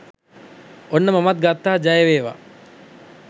ඔන්න මමත් ගත්තා ජය වේවා